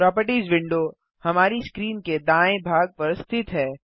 properties window हमारी screen के दाएँ भाग पर स्थित है